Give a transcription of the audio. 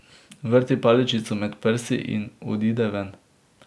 Vrti paličico med prsti in odide ven.